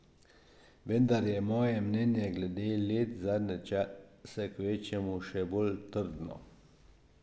Vendar je moje mnenje glede let zadnje čase kvečjemu še bolj trdno.